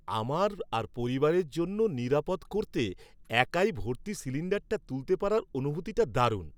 আমার আর পরিবারের জন্য নিরাপদ করতে, একাই ভর্তি সিলিণ্ডারটা তুলতে পারার অনুভূতিটা দারুণ।